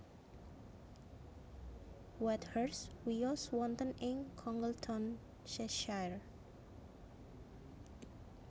Whitehurst wiyos wonten ing Congleton Cheshire